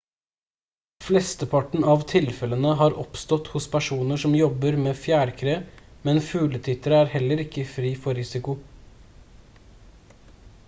flesteparten av tilfellene har oppstått hos personer som jobber med fjærkre men fugletittere er heller ikke fri for risiko